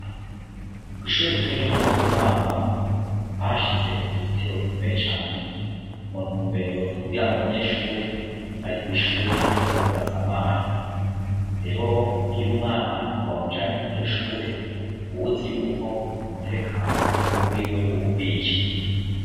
Kw'ishure ritoya ryo mu Butomangwa, bahashize uruzitiro rukomeye cane, mu ntumbero zukugira ngo abanyeshure bari kw'ishure ntibaze basamare. Rero iy umwana wa mujanye kur' iryoshure ubuzi yuko umutekano wiwe ubukwiye.